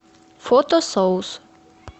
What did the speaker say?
фото соус